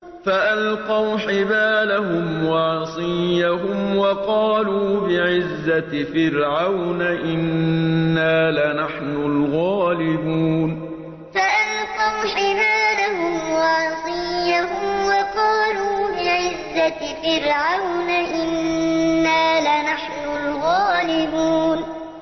فَأَلْقَوْا حِبَالَهُمْ وَعِصِيَّهُمْ وَقَالُوا بِعِزَّةِ فِرْعَوْنَ إِنَّا لَنَحْنُ الْغَالِبُونَ فَأَلْقَوْا حِبَالَهُمْ وَعِصِيَّهُمْ وَقَالُوا بِعِزَّةِ فِرْعَوْنَ إِنَّا لَنَحْنُ الْغَالِبُونَ